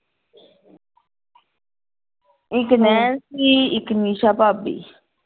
ਇਕ ਨੈਣਸੀ ਇਕ ਨਿਸ਼ਾ ਭਾਬੀ ।